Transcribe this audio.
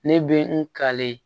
Ne bɛ n ka le